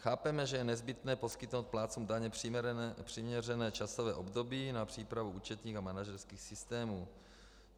Chápeme, že je nezbytné poskytnout plátcům daně přiměřené časové období na přípravu účetních a manažerských systémů.